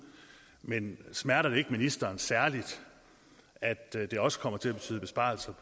men smerter det ikke ministeren særligt at det også kommer til at betyde besparelser